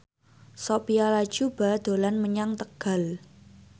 Sophia Latjuba dolan menyang Tegal